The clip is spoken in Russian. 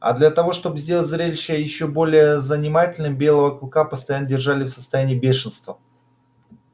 а для того чтобы сделать зрелище ещё более занимательным белого клыка постоянно держали в состоянии бешенства